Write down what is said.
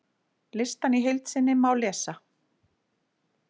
Listann í heild sinni má lesa